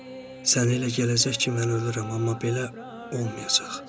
Sənə elə gələcək ki, mən ölürəm, amma belə olmayacaq.